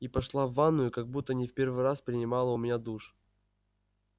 и пошла в ванную как будто не в первый раз принимала у меня душ